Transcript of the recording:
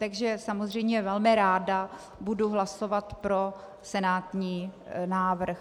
Takže samozřejmě velmi ráda budu hlasovat pro senátní návrh.